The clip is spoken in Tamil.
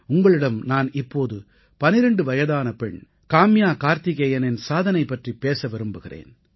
உங்களிடம் நான் இப்போது 12 வயதான பெண் காம்யா கார்த்திகேயனின் சாதனை பற்றிப் பேச விரும்புகிறேன்